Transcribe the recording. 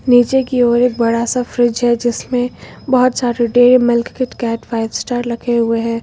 नीचे की ओर एक बड़ा सा फ्रिज है जिसमें बहोत सारे Dairy Milk Kit Kat Five Star रखे हुए हैं।